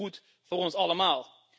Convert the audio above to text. Dus goed voor ons allemaal.